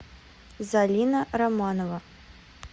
зарина романова